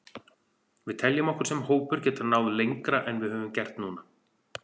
Við teljum okkur sem hópur geta náð lengra en við höfum gert núna.